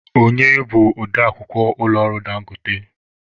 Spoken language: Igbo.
Onye bụ ode akwukwọ ụlọ ọrụ Dangote?